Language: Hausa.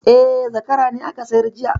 E, zakara ne aka sayar jiya